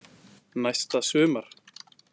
Næsta sumar.